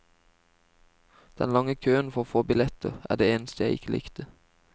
Den lange køen for å få billetter er det eneste jeg ikke likte.